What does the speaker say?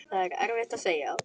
Það er erfitt að segja.